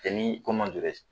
E ni